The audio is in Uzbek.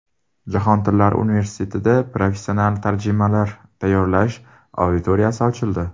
Jahon tillari universitetida professional tarjimonlar tayyorlash auditoriyasi ochildi.